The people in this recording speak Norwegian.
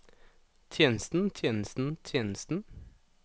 tjenesten tjenesten tjenesten